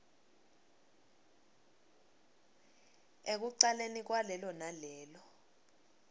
ekucaleni kwalelo nalelo